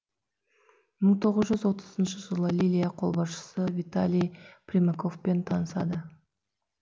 мың тоғыз жүз отызыншы жылы лилия қолбасшы виталий примаковпен танысады